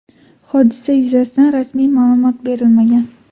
Hodisa yuzasidan rasmiy ma’lumot berilmagan.